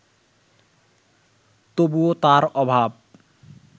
তবুও তার অভাব